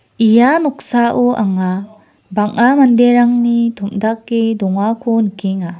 ia noksao anga bang·a manderangni tom·dake dongako nikenga.